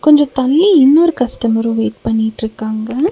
கொஞ்சோ தள்ளி இன்னொரு கஸ்டமரு வெயிட் பண்ணிட்ருக்காங்க.